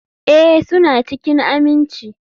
Ee, suna cikin aminci.